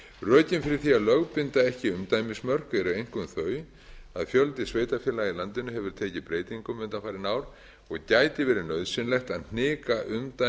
rökin fyrir því að lögbinda ekki umdæmismörk eru einkum þau að fjöldi sveitarfélaga í landinu hefur tekið breytingum undanfarin ár og gæti verið nauðsynlegt að hnika umdæmum